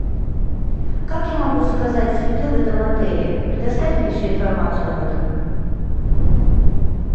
как я могу заказать цветы в этом отеле предоставь мне всю информацию об этом